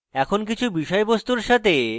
এখন